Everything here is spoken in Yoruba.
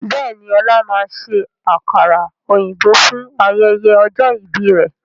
Bẹ́ẹ̀ni, ọlá máa ṣe àkàrà òyìnbó fún ayẹyẹ ọjọ́ ìbí rẹ̀